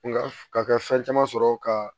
Nga ka kɛ fɛn caman sɔrɔ ka